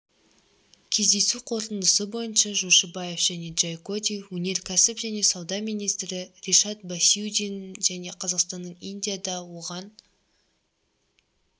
кездесу қорытындысы бойынша жошыбаев және джайкоди өнеркәсіп және сауда министрі ришад басиудин және қазақстанның индияда оған